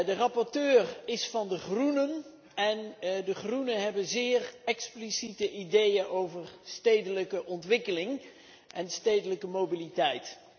De rapporteur is van de Groenen en de Groenen hebben zeer expliciete ideeën over stedelijke ontwikkeling en stedelijke mobiliteit.